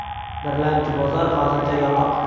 Birlamchi bozor hozircha yopiq.